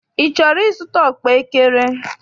Ị chọrọ ịzụta ọkpaekere?